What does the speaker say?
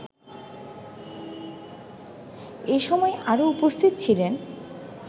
এসময় আরও উপস্থিত ছিলেন